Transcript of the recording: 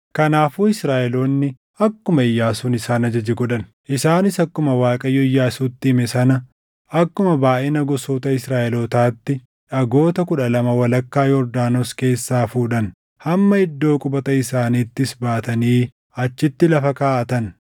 Kanaafuu Israaʼeloonni akkuma Iyyaasuun isaan ajaje godhan. Isaanis akkuma Waaqayyo Iyyaasuutti hime sana, akkuma baayʼina gosoota Israaʼelootaatti dhagoota kudha lama walakkaa Yordaanos keessaa fuudhan; hamma iddoo qubata isaaniittis baatanii achitti lafa kaaʼatan.